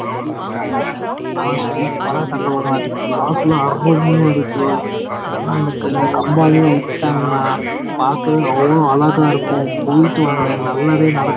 கட்டிட்டு இருகாங்க சூப்பர் ஆஹ் இருக்கு பாக்கவே அவுளோ நல்ல இருக்கு